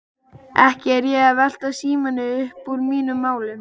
Ekki er ég að velta Símoni uppúr mínum málum.